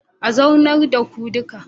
A zaunar da ku duka